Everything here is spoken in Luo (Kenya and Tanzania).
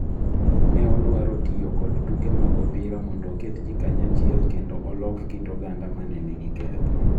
Ne odwaro tiyo kod tuke mag opira mondo oket ji kanyachiel kendo olok kit oganda ma ne nigi ketho.